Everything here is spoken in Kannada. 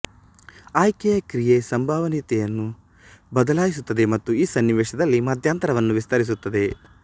ಆಯ್ಕೆಯ ಕ್ರಿಯೆ ಸಂಭವನೀಯತೆಯನ್ನು ಬದಲಿಸುತ್ತದೆ ಮತ್ತು ಈ ಸನ್ನಿವೇಶದಲ್ಲಿ ಮಧ್ಯಂತರವನ್ನು ವಿಸ್ತರಿಸುತ್ತದೆ